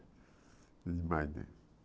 Demais, né?